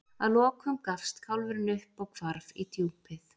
að lokum gafst kálfurinn upp og hvarf í djúpið